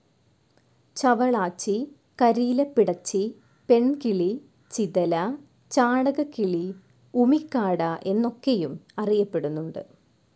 ചവളാച്ചി, കരിയിലപ്പിടച്ചി, പെൺകിളി, ചിതല, ചാണകക്കിളി, ഉമിക്കാട, എന്നൊക്കെയും അറിയപ്പെടുന്നുണ്ട്.